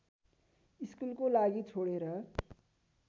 स्कुलको लागि छोडेर